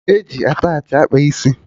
E ji attachị akpa isi